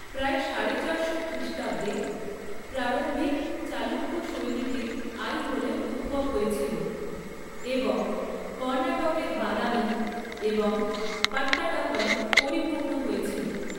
প্রায় সাড়ে চারশো খ্রিষ্টাব্দে, প্রারম্ভিক চালুক্য শৈলীটির আইহোলে উদ্ভব হয়েছিল, এবং কর্ণাটকের বাদামি এবং পাট্টাডাকলে পরিপূর্ণ হয়েছিল।